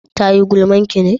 ta yi gulman ki ne?